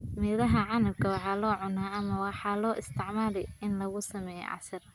Midhaha canabka waxaa la cunaa ama waxaa loo isticmaalaa in lagu sameeyo casiir.